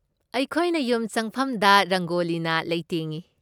ꯑꯩꯈꯣꯏꯅ ꯌꯨꯝ ꯆꯪꯐꯝꯗ ꯔꯪꯒꯣꯂꯤꯅ ꯂꯩꯇꯦꯡꯏ꯫